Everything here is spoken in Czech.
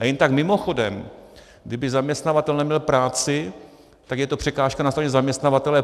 Jen tak mimochodem, kdyby zaměstnavatel neměl práci, tak je to překážka na straně zaměstnavatele.